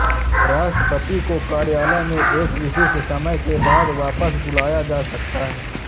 राष्ट्रपति को कार्यालय में एक विशिष्ट समय के बाद वापस बुलाया जा सकता है